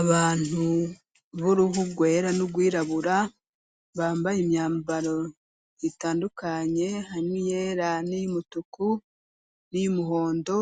abantu b'uruhugwera n'ugwirabura bambaye imyambaro itandukanye hamwe yera n'iy'umutuku n'iyumuhondo